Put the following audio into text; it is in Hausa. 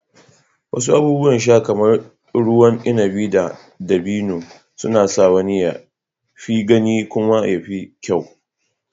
Wasu abubuwan sha kamar ruwan inabi na dabino suna sa wani ya fi gani kuma ya fi kyau.